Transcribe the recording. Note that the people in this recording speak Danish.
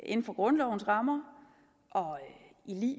inden for grundlovens rammer og i